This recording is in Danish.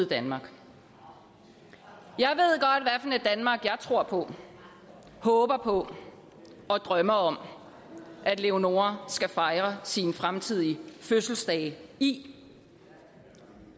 danmark jeg tror på håber på og drømmer om at leonora skal fejre sine fremtidige fødselsdage i